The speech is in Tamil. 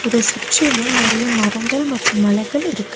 இத சுற்றிலு நறைய மரங்கள் மற்றும் மலைகள் இருக்கு.